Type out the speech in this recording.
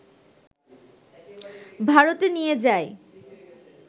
ভারতে নিয়ে যায়